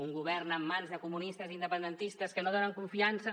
un govern en mans de comunistes i independentistes que no donen confiança